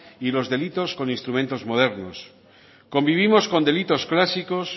y los delitos con instrumentos modernos convivimos con delitos clásicos